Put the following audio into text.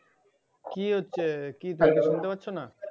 কি হচ্ছে কি শুনতে পাচ্ছোনা